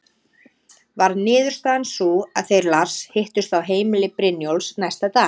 Varð niðurstaðan sú að þeir Lars hittust á heimili Brynjólfs næsta dag.